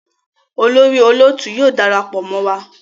olórí olóòtú yóò darapọ mọ wá.